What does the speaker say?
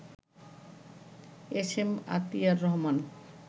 S M Atiar Rahman